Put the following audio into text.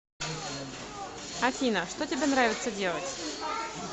афина что тебе нравится делать